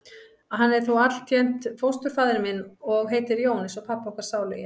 Hann er þó altént fósturfaðir minn. og heitir Jón eins og pabbi okkar sálugi.